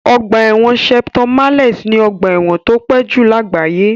Ọgbà ẹ̀wọ̀n Shepton Mallet ni ọgbà ẹ̀wọ̀n tó pẹ́ jù lágbàáyé.